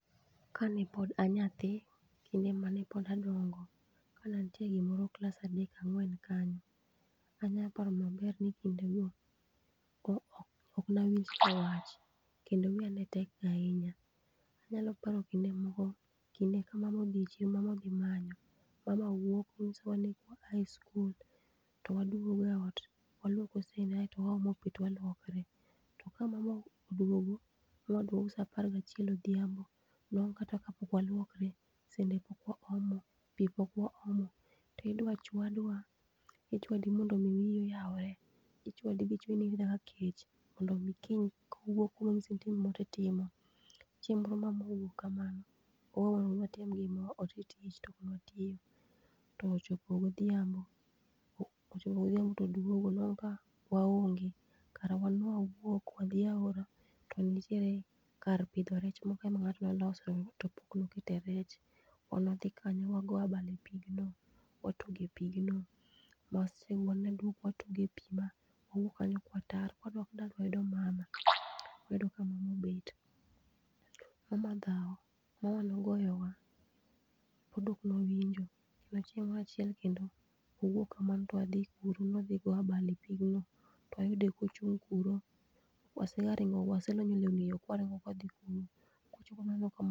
Kanepod anyathi kinde mane pod adongo kane antiere gimoro class adek angwen kanyo anyaparo maber ni kindo no ok nawinj wach kendo wiya netek ahinya anyalopara kinde moro kamama odhi chiro mama odhi manyo mama wuok kendo nyisowa ni kawaa e school towaduogo e ot waluoko sende kasto waomo pii to walwokore to ka mama oduogo oduogo saa apar gachiel odhiambo nwango kata kapok walwokre sende pok waluoko pii pok waomo ti dwaa chwadwa ichwadi mondo wii oyaure ichwadi michwe inind nyaka kech kiny kowuok konyisi ni itim gimoro titimo . chieng moro mamwa owuok kamano owewa newatim tich tonokwa watimo ochopo godhiambo todwogo tonwango kawaonge kara wan nwawuok wadhi aora to nitiere kar pidho rech moro ngato noloso to pok nokete rech wan wadhi kanyo wago abal e pigno watuge pigno mwaselonyore duk watuge pigno mwawuok kanyo ka watar kawadok dala wayudo mama wayudo ka mama obet mama dhao mama nogoya wa pod ok wawinjo chieng moro achiel kendo wawuok kamano to wadhi kuro ni wadhi go abal e pigno twayude kochung kuro wasegaringo walonyo lewni e yoo waringo kwadhii kuro